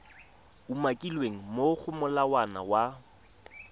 umakilweng mo go molawana wa